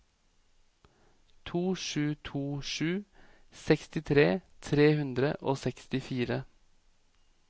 to sju to sju sekstitre tre hundre og sekstifire